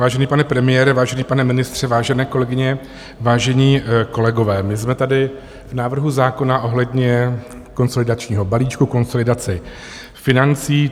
Vážený pane premiére, vážený pane ministře, vážené kolegyně, vážení kolegové, my jsme tady v návrhu zákona ohledně konsolidačního balíčku, konsolidace financí.